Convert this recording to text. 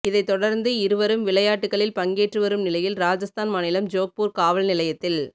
இதைத் தொடர்ந்து இருவரும் விளையாட்டுக்களில் பங்கேற்றுவரும் நிலையில் ராஜஸ்தான் மாநிலம் ஜோக்பூர் காவல் நிலையத்தில்